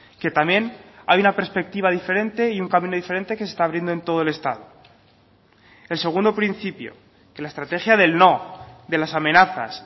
que también hay una perspectiva diferente y un camino diferente que se está abriendo en todo el estado el segundo principio que la estrategia del no de las amenazas